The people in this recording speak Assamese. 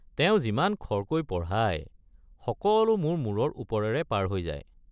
তেওঁ যিমান খৰকৈ পঢ়ায়, সকলো মোৰ মূৰৰ ওপৰেৰে পাৰ হৈ যায়।